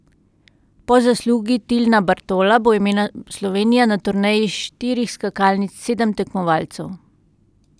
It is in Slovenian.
Po zaslugi Tilna Bartola bo imela Slovenija na turneji štirih skakalnic sedem tekmovalcev.